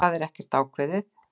Það er ekkert ákveðið.